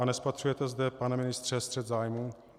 A nespatřujete zde, pane ministře, střet zájmů?